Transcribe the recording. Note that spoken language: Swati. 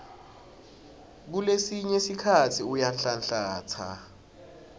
kulesinye sikhatsi uyanhlanhlatsa